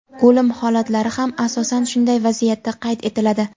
O‘lim holatlari ham asosan shunday vaziyatda qayd etiladi.